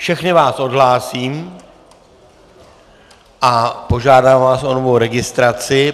Všechny vás odhlásím a požádám vás o novou registraci.